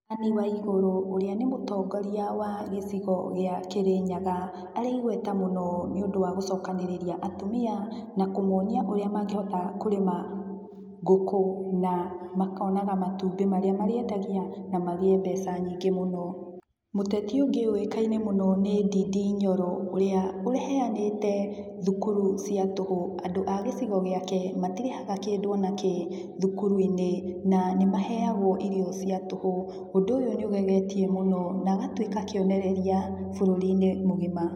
Ann Waiguru ũria nĩ mũtongoria wa gĩcigo gĩa kĩrĩnyaga, arĩ igweta mũno nĩũndũ wa gũcokanĩrĩria atumia na kũmonia ũrĩa mangĩhota kũrĩma ngũkũ na makonaga matumbĩ marĩa marĩendagia na magĩe mbeca nyingĩ mũno. Muteti ũngĩ ũĩkaine mũno nĩ Ndindi Nyoro ũria uheanĩte thukuru cia tũhũ, andũ a gicigo giake matirĩhaga kĩndũ onakĩ thukuru - inĩ na nĩmaheagwo irio cia tũhũ ũndũ ũyo nĩũgegetie mũno na agatuĩka kĩonereria mbũrũri -inĩ mũgima.